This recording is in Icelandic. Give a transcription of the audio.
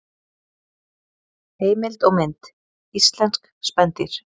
Heimild og mynd: Íslensk spendýr.